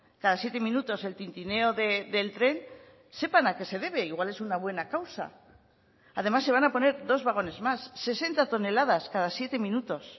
cada siete minutos el tintineo del tren sepan a qué se debe igual es una buena causa además se van a poner dos vagones más sesenta toneladas cada siete minutos